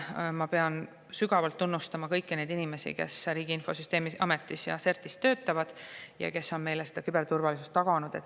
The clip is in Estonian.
Ma pean sügavalt tunnustama kõiki neid inimesi, kes Riigi Infosüsteemi Ametis ja CERT‑is töötavad ja on meile küberturvalisust taganud.